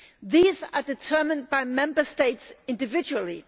These are determined by Member States individually.